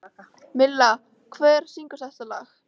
Milla, hver syngur þetta lag?